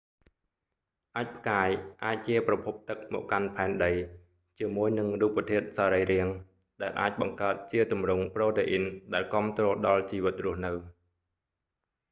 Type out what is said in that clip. អាចម៍ផ្កាយ អាចជាប្រភពទឹកមកកាន់ផែនដី ជាមួយនឹងរូបធាតុសរីរាង្គ ដែលអាចបង្កើតជាទម្រង់ប្រូតេអ៊ីនដែលគាំទ្រដល់ជីវិតរស់នៅ